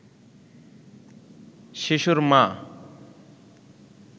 শিশুর মা